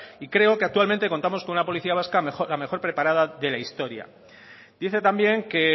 y creo que actualmente contamos con una policía vasca la mejor preparada de la historia dice también que